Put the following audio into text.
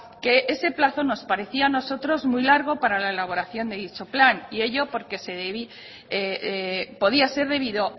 que ese plazo nos parecía a nosotros muy largo para la elaboración de dicho plan y ello porque podía ser debido